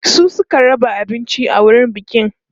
su Suka raba abinci a wurin bikin